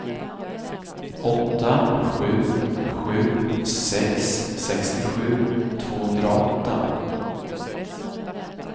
åtta sju sju sex sextiosju tvåhundraåtta